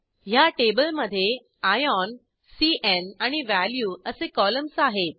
ह्या टेबलमधे आयॉन cन् आणि वॅल्यू असे कॉलम्स आहेत